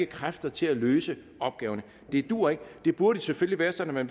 kræfter til at løse opgaverne det duer ikke det burde selvfølgelig være sådan at